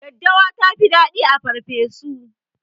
Daddawa tafi dadi a farfeso